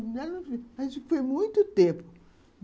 Mas foi muito tempo.